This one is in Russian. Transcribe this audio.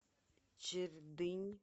чердынь